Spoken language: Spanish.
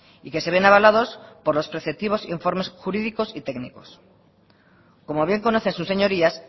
y que se ven avalados por los por los preceptivos informes jurídicos y técnicos como bien conocen sus señorías